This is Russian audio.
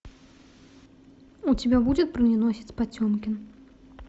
у тебя будет броненосец потемкин